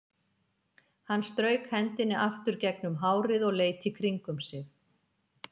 Hann strauk hendinni aftur gegnum hárið og leit í kringum sig.